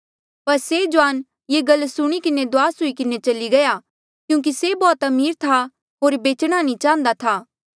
पर से जुआन ये गल सुणी किन्हें दुआस हुई किन्हें चली गया क्यूंकि से बौह्त अमीर था होर बेचणा नी चाहन्दा था